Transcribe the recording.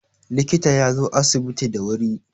likita ya zo asibiti da wuri